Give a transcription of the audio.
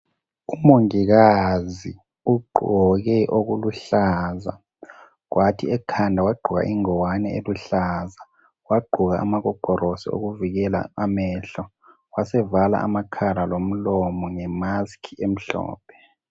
Umongikazi ugqoke okuluhlaza kwathi ekhanda wagqoka ingwane eluhlaza wagqoka amagogorosi okuvikela. amehlo wasevala. amakhala lomlomo ngemask emhlophe .